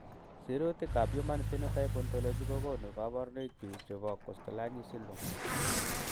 Sirutikab Human Phenotype Ontology kokonu koborunoikchu chebo Kosztolanyi syndrome.